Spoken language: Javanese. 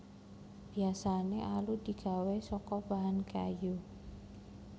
Biasané alu digawé saka bahan kayu